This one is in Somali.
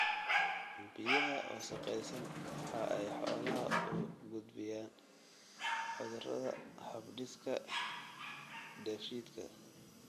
Biyaha wasakhaysan waxa ay xoolaha u gudbiyaan cudurada hab-dhiska dheefshiidka.